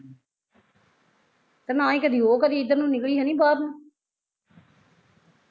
ਤੇ ਨਾ ਹੀਂ ਕਦੀ ਉਹ ਕਦੀ ਏਦਰ ਨੂੰ ਨਿਕਲੀ ਹੈਨੀ ਬਾਹਰ ਨੂੰ